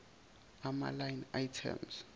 ama line item